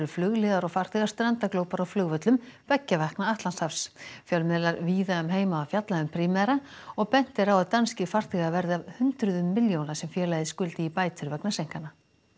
flugliðar og farþegar strandaglópar á flugvöllum beggja vegna Atlantshafs fjölmiðlar víða um heim hafa fjallað um Primera og bent er á að danskir farþegar verði af hundruðum milljóna sem félagið skuldi í bætur vegna seinkana